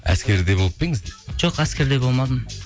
әскерде болып па едіңіз дейді жоқ әскерде болмадым